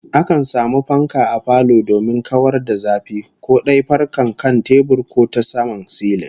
Akan samu fanka a falo domin kawar da zafi, ko dai fankar kan tebur ko ta saman silin